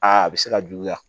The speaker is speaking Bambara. Aa a bɛ se ka juguya